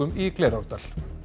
í Glerárdal